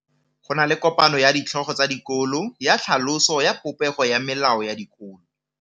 Go na le kopanô ya ditlhogo tsa dikolo ya tlhaloso ya popêgô ya melao ya dikolo.